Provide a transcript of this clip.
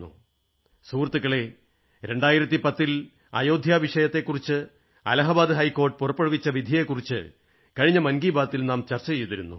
സുഹൃത്തുക്കളേ 2010 ൽ അയോധ്യ വിഷയത്തെക്കുറിച്ച് അലാഹാബാദ ഹൈക്കോടതി പുറപ്പെടുവിച്ച വിധിയെക്കുറിച്ചു കഴിഞ്ഞ മൻ കീ ബാത് ൽ നാം ചർച്ച ചെയ്തിരുന്നു